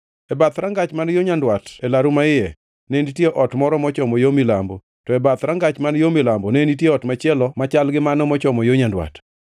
E bath rangach man yo nyandwat e laru maiye, ne nitie ot moro mochomo yo milambo; to e bath rangach man yo milambo ne nitie ot machielo machal gi mano mochomo yo nyandwat.